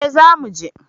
Eh za mu je